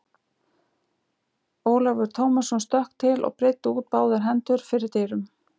Ólafur Tómasson stökk til og breiddi út báðar hendur fyrir dyrum.